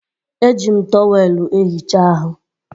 Eji m tọweelụ ehicha ahụ